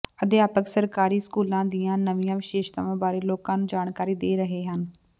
ਅਧਿਆਪਕ ਸਰਕਾਰੀ ਸਕੂਲਾਂ ਦੀਆਂ ਨਵੀਆਂ ਵਿਸ਼ੇਸ਼ਤਾਵਾਂ ਬਾਰੇ ਲੋਕਾਂ ਨੂੰ ਜਾਣਕਾਰੀ ਦੇ ਰਹੇ ਹਨ